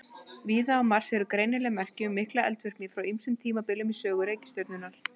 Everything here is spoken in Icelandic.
Víða á Mars eru greinileg merki um mikla eldvirkni frá ýmsum tímabilum í sögu reikistjörnunnar.